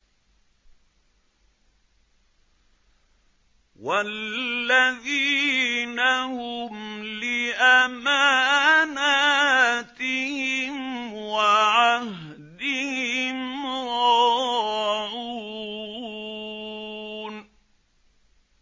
وَالَّذِينَ هُمْ لِأَمَانَاتِهِمْ وَعَهْدِهِمْ رَاعُونَ